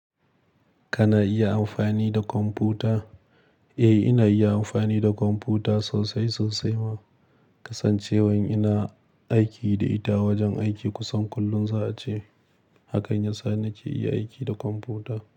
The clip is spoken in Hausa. Kana iya amfani da kwamfuta? Eh, ina iya amfani da kwamfuta sosai sosai ma, kasancewan ina aiki da ita wajen aiki kusan kullum za a ce. Haka ne ya sa nake iya aiki da kwamfuta.